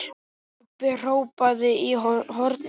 Kobbi hrópaði í hornið.